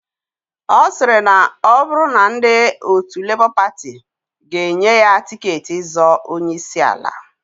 Osiri na oburu na ndi otu Labour Party ga enye ya tiketi izọọ onye isi ala.